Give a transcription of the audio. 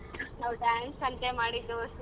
ನಾವ್ dance ಮಾಡಿದ್ದೂ ಸಿಂಗ್.